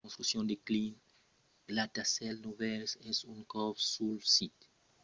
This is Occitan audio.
la construccion de cinc gratacèls novèls es en cors sul sit amb un centre de transpòrt e un parc commemoratiu al mièg